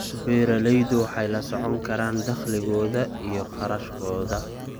Beeraleydu waxay la socon karaan dakhligooda iyo kharashkooda.